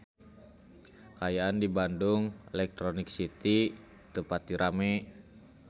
Kaayaan di Bandung Electronic City teu pati rame